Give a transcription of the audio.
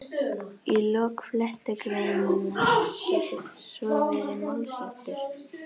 Í lok flettugreinar getur svo verið málsháttur